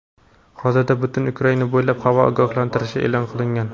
Hozirda butun Ukraina bo‘ylab havo ogohlantirishi eʼlon qilingan.